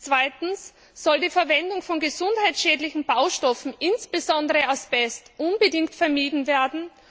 Zweitens soll die Verwendung von gesundheitsschädlichen Baustoffen, insbesondere Asbest, unbedingt vermieden werden.